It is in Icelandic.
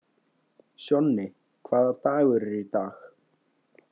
Sjonni, hvaða dagur er í dag?